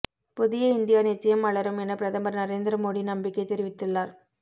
புதிய இந்தியா நிச்சயம் மலரும் என பிரதமர் நரேந்திர மோடி நம்பிக்கை தெரிவித்துள்ளார்